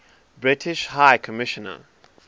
british high commissioner